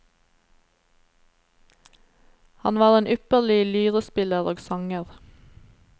Han var en ypperlig lyrespiller og sanger.